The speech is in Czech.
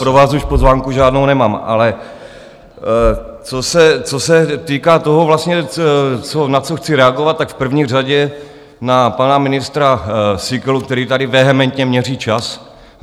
Pro vás už pozvánku žádnou nemám, ale co se týká toho, na co chci reagovat, tak v první řadě na pana ministra Síkelu, který tady vehementně měří čas.